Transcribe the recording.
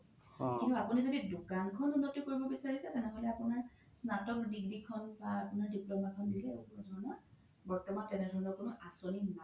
কিন্তু আপোনি যদি দুকান খন উন্নতি কৰিব বিচাৰিছে তেনেহ'লে আপোনাত স্নাতক degree খন বা diploma খন দিলে হ্'ব তেনে ধৰণৰ বৰ্তমান তেনে ধৰণৰ কোনো আচ্নী নাই